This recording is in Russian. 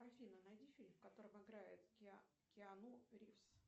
афина найди фильм в котором играет киану ривз